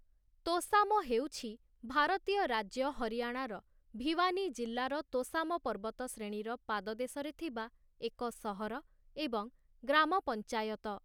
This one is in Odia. ତୋଶାମ, ହେଉଛି ଭାରତୀୟ ରାଜ୍ୟ ହରିୟାଣାର ଭିୱାନୀ ଜିଲ୍ଲାର ତୋଶାମ ପର୍ବତଶ୍ରେଣୀର ପାଦଦେଶରେ ଥିବା ଏକ ସହର ଏବଂ ଗ୍ରାମ ପଞ୍ଚାୟତ ।